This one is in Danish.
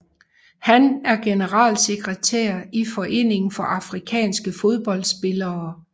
Han er generalsekretær i Foreningen for afrikanske fodboldspillere